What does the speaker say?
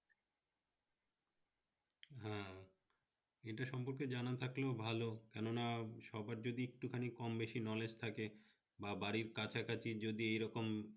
হ্যাঁ এইটা সম্পকে জনা থাকলেও ভালো মানে সবার যদি একটু খানি কম-বেশি knowledge থাকে বা বাড়ীর কাছে কাছে যদি এইরকম